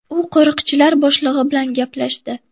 U qo‘riqchilar boshlig‘i bilan gaplashdi.